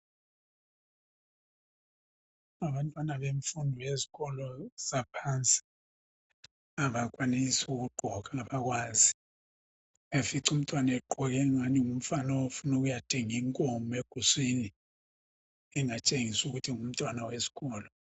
Abantwana bemfundo yesikolo saphansi abenelisi ukugqoka abakwazi, uyafica umntwana egqoke angani ngumfana ofuna ukuya thenga inkomo eguswini engatshengisi ukuthi ngumntwana wesikolo.